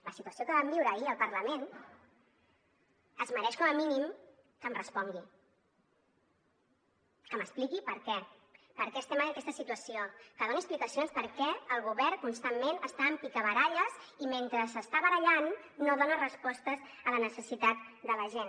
la situació que vam viure ahir al parlament es mereix com a mínim que em respongui que m’expliqui per què per què estem en aquesta situació que doni explicacions de per què el govern constantment està amb picabaralles i mentre s’està barallant no dona respostes a la necessitat de la gent